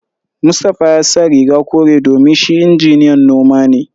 Mustapha ya sa riga kore domin shi injiniyan noma ne